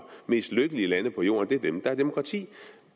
mest lykkelige lande på jorden er dem der har demokrati